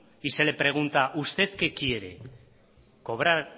y se le pregunta usted qué quiere cobrar